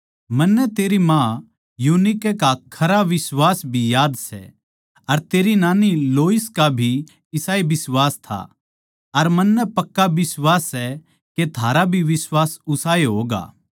मन्नै तेरी माँ यूनिके का खरा बिश्वास भी याद सै अर तेरी नानी लोइस का भी इसाए बिश्वास था अर मन्नै पक्का बिश्वास सै के थारा भी बिश्वास उसाए होगा सै